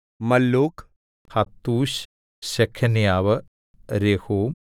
മല്ലൂക് ഹത്തൂശ് ശെഖന്യാവ് രെഹൂം